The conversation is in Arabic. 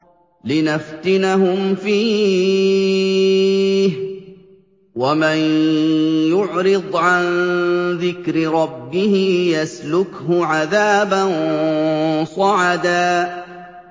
لِّنَفْتِنَهُمْ فِيهِ ۚ وَمَن يُعْرِضْ عَن ذِكْرِ رَبِّهِ يَسْلُكْهُ عَذَابًا صَعَدًا